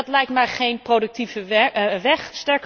Dat lijkt mij geen productieve weg.